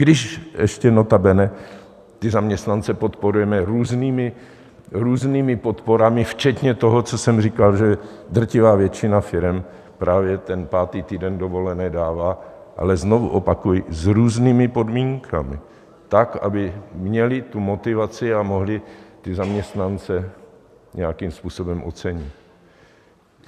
Když ještě notabene ty zaměstnance podporujeme různými podporami včetně toho, co jsem říkal, že drtivá většina firem právě ten pátý týden dovolené dává, ale znovu opakuji, s různými podmínkami tak, aby měli tu motivaci, a mohly ty zaměstnance nějakým způsobem ocenit.